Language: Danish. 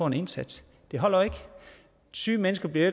en indsats det holder jo ikke syge mennesker bliver